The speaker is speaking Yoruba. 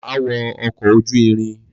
Ma wo ọkọ ojú irin